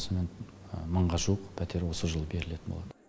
сонымен мыңға жуық пәтер осы жылы берілетін болады